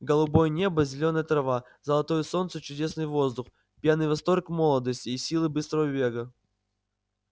голубое небо зелёная трава золотое солнце чудесный воздух пьяный восторг молодости и силы быстрого бега